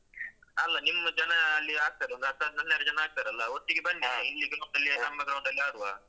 ಅಲ್ಲ ನಿಮ್ಮ್ ಜನಾ ಅಲ್ಲಿ ಆಡ್ತಾರಲ್ಲ ಒಂದ್ ಹತ್ತ್ ಹನ್ನೆರಡು ಜನ ಆಡ್ತಾರಲ್ಲ ಒಟ್ಟಿಗೆ ಬನ್ನಿ ಇಲ್ಲಿದ್ದು ಗುಂಪಲ್ಲಿ ನಮ್ಮ ground ಡಲ್ಲಿ ಆಡುವ.